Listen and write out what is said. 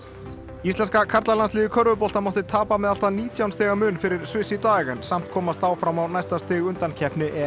íslenska karlalandsliðið í körfubolta mátti tapa með allt að nítján stiga mun fyrir Sviss í dag en samt komast áfram á næsta stig undankeppni